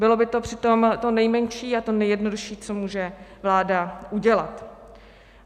Bylo by to přitom to nejmenší a to nejjednodušší, co může vláda udělat.